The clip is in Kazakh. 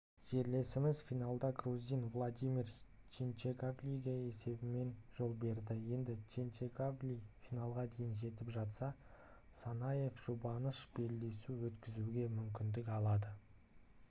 жерлесіміз финалда грузин владимир хинчегашвилиге есебімен жол берді енді хинчегашвили финалға дейін жетіп жатса санаев жұбаныш белдесу өткізуге мүмкіндік алады